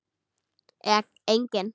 Eða engin?